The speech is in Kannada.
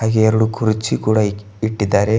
ಹಾಗೆ ಎರಡು ಕುರ್ಚಿ ಕೂಡ ಇಕಿ ಇಟ್ಟಿದ್ದಾರೆ.